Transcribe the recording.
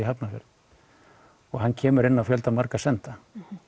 Hafnarfjörð og hann kemur inn á fjöldamarga senda